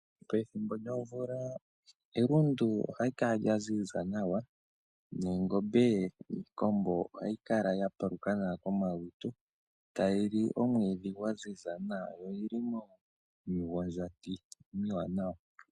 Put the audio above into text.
Pethimbo lyomvula elundu oha li kala lya ziza nawa, noongombe niikombo ohayi kala ya paluka nawa komalutu, tayi li omwiidhi gwa ziza nawa yo oyili miigondjati iiwanawa.